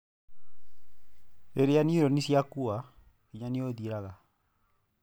Rĩrĩa neuroni ciakua, hinya nĩũthiraga.